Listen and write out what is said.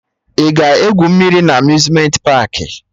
Ị ga-egwu mmiri na Amuzmenti paakị?